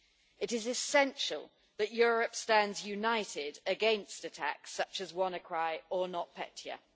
It is essential that Europe stand united against attacks such as WannaCry and NotPetya.